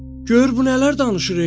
Gör bu nələr danışır, e!